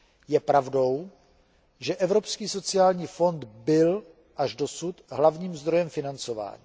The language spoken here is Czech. Je pravdou, že Evropský sociální fond byl až dosud hlavním zdrojem financování.